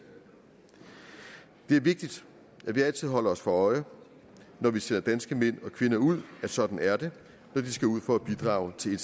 det er vigtigt at vi altid holder os for øje når vi sender danske mænd og kvinder ud at sådan er det når de skal ud for at bidrage til